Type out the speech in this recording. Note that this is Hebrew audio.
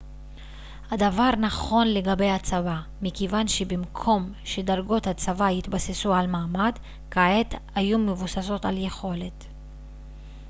הדבר נכון לגבי הצבא מכיוון שבמקום שדרגות הצבא יתבססו על מעמד כעת היו מבוססות על יכולת